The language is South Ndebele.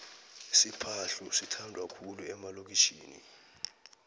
isiphadhlu sithandwa khulu emalokitjhini